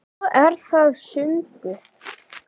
Svo er það sundið.